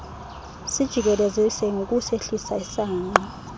sijikelezise ngokusehlisa isangqa